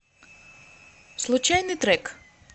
случайный трек